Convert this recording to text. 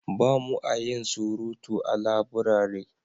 ba mu a yin surutu a laburare